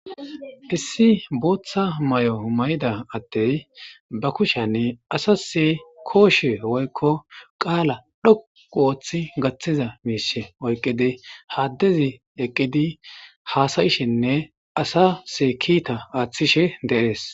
Issi booththa may,o mayida attey ba kushanni asase kooshe oykko qaala dhoqu ooththi gaththiza miise oyqidi haaddezi eqqidi haasayishinne asasee kiita aaththishe de,ees.